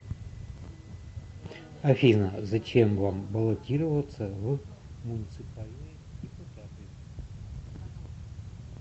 афина зачем вам баллотироваться в муниципальные депутаты